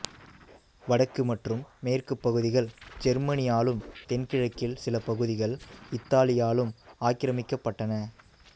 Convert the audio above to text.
வடக்கு மற்றும் மேற்குப் பகுதிகள் ஜெர்மனியாலும் தென்கிழக்கில் சில பகுதிகள் இத்தாலியாலும் ஆக்கிரமிக்கப்பட்டன